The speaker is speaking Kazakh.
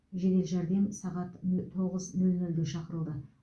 жедел жәрдем сағат нө тоғыз нөл нөлде шақырылды